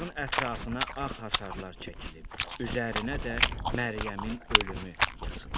Bağın ətrafına ağ hasarlar çəkilib, üzərinə də Məryəmin ölümü yazılıb.